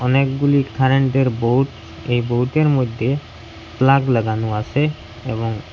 অনেকগুলি কারেন্টের বোর্ড এই বোর্ডের মধ্যে প্লাগ লাগানো আসে এবং--